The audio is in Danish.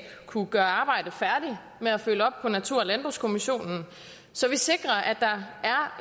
kunne gøre arbejdet færdigt med at følge op på natur og landbrugskommissionen så vi sikrer at der